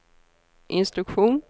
instruktion